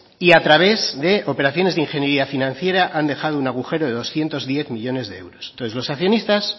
y a través de operaciones de ingeniería financiera han dejado un agujero de doscientos diez millónes de euros entonces los accionistas